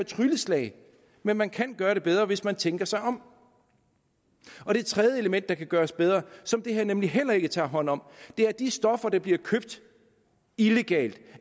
trylleslag men man kan gøre det bedre hvis man tænker sig om det tredje element som kan gøres bedre og som det her nemlig heller ikke tager hånd om er at de stoffer der bliver købt illegalt